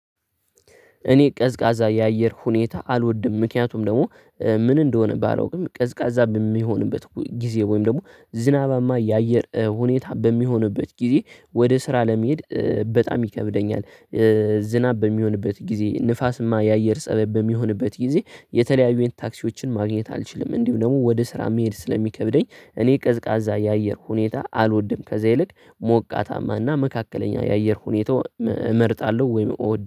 እኔ ቀዝቃዛ የአየር ሁኔታ አልወድም ምክንያቱም ደግሞ ምን እንደሆነ ባላውቅም ቀዝቃዛ በሚሆንበት ጊዜ ወይም ደግሞ ዝናባማ የአየር ሁኔታ በሚሆንበት ጊዜ ወደ ስራ ለመሄድ በጣም ይከብደኛል። ዝናብ በሚሆንበት ጊዜ ንፋስማ የአየር ፀባይ በሚሆንበት ጊዜ የተለያዩን ታክሲዎችን ማግኘት አልችልም እንዲሁ ደግሞ ወደ ስራ መሄድ ስለሚከብደኝ እኔ ቀዝቃዛ የአየር ሁኔታ አልወድም። ከዛ ይልቅ ሞቃታማና መካከለኛ የአየር ሁኔታው እመርጣለሁ ወይም እወድ